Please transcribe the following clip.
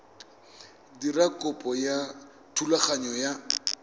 dira kopo ya thulaganyo ya